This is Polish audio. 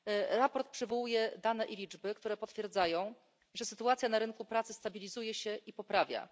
Sprawozdanie przywołuje dane i liczby, które potwierdzają, że sytuacja na rynku pracy stabilizuje się i poprawia.